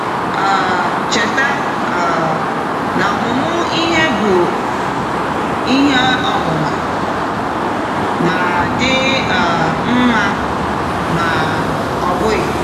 um Cheta um na ọmụmụ ihe bụ bụ ọmụma — ma dị um mma ma ọ bụghị.